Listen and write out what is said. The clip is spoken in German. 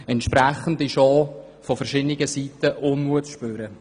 Entsprechen ist auch von verschiedener Seite Unmut zu spüren.